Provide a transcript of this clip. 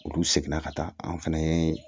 Olu seginna ka taa an fɛnɛ ye